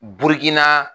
Bukina